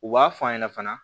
U b'a f'a ɲɛna fana